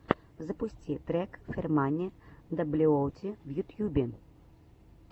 запусти трек фермани даблюоути в ютьюбе